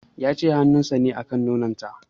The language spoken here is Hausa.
Ya ce hanun sa na kan nonon ta